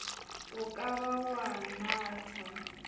o ka ba wa nnatha